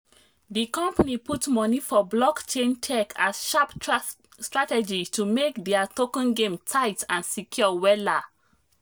the company put money for blockchain tech as sharp strategy to make their token game tight and secure wella.